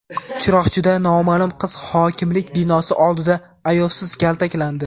Chiroqchida noma’lum qiz hokimlik binosi oldida ayovsiz kaltaklandi.